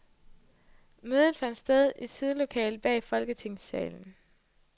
Mødet fandt sted i sidelokalet bag folketingssalen.